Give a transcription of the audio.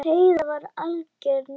Heiða var algjör nagli.